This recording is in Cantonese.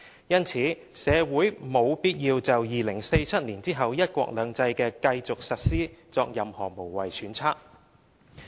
因此，社會沒有必要就2047年後"一國兩制"的繼續實施作任何無謂揣測。